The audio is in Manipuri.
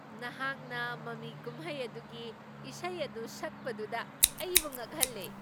ꯅꯍꯥꯛꯅ ꯃꯃꯤ ꯀꯨꯝꯍꯩ ꯑꯗꯨꯒꯤ ꯏꯁꯩ ꯑꯗꯨ ꯁꯛꯄꯗꯨꯗ ꯑꯩꯕꯨ ꯉꯛꯍꯜꯂꯦ ꯫